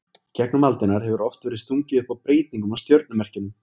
Í gegnum aldirnar hefur oft verið stungið upp á breytingum á stjörnumerkjunum.